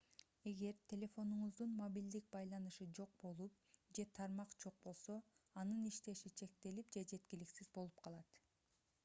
эгер телефонуңуздун мобилдик байланышы жок болуп же тармак жок болсо анын иштеши чектелип же жеткиликсиз болуп калат